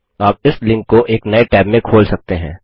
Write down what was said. आप इस लिंक को एक नये टैब में खोल सकते हैं